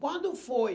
Quando foi?